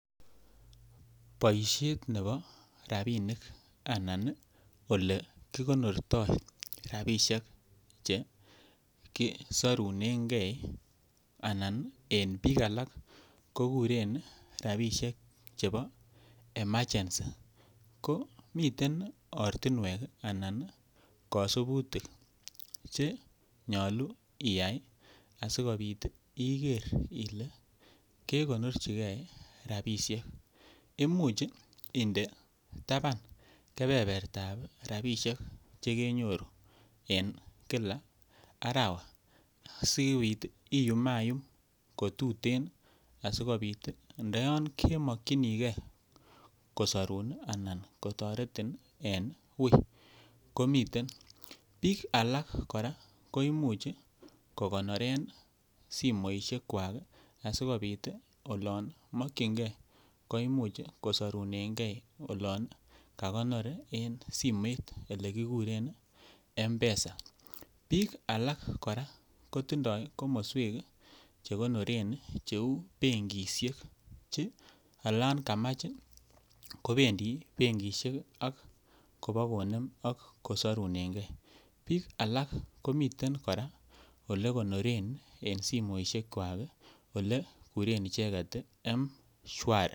Boisiet nebo rabisiek anan olekikonortoi rabisiek Che kisorunengei chekuren bik alak rabisiek chebo emergency ko miten ortinwek anan kosubutik Che nyolu Iyai asikobit iger ile kegonorchigei rabisiek Imuch inde taban kebertab rabisiek Che kenyoru en kila arawa asikobit iyumayum ko tuten asi ndo yon kemokyinige kosorun anan kotoretin en wui komiten bik alak kora ko Imuch ko Imuch ko konoren simoisiek kwak asikobit olon mokyingei ko Imuch kisorunengei olon kakonor en simet Ole kikuren mpesa bik alak kora kotindoi komoswek Che konoren kou benkisiek Che olon kamach ii kobendi benkisiek ak kobokonem ak kosurunengei